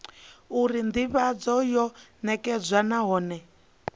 uri ndivhadzo yo nekedzwa nahone